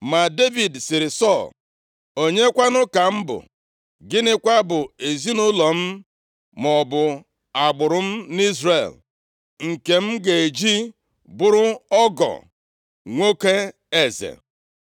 Ma Devid sịrị Sọl, “Onyekwanụ ka m bụ, gịnịkwa bụ ezinaụlọ m maọbụ agbụrụ m nʼIzrel, nke m ga-eji bụrụ ọgọ nwoke eze?”